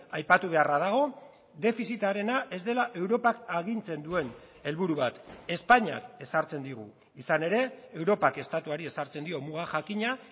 aipatu beharra dago defizitarena ez dela europak agintzen duen helburu bat espainiak ezartzen digu izan ere europak estatuari ezartzen dio muga jakina